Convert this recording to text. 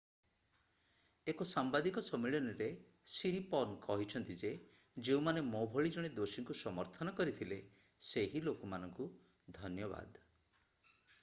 ଏକ ସାମ୍ବାଦିକ ସମ୍ମିଳନୀରେ ସିରିପର୍ନ କହିଛନ୍ତି ଯେ ଯେଉଁମାନେ ମୋ ଭଳି ଜଣେ ଦୋଷୀଙ୍କୁ ସମର୍ଥନ କରିଥିଲେ ସେହି ଲୋକମାନଙ୍କୁ ଧନ୍ୟବାଦ